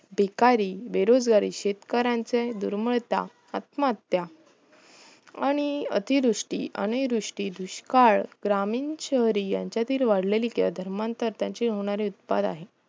भिकारी बेरोजगारी शेतकऱ्याचे दुर्मळता आत्महत्या आणि अतिदुष्टी अनिरुष्टी दुष्काळ ग्रामीण शहरी यांच्यातील वाढलेली गैर धर्मांतर त्याचे होणारे उत्पाद आहे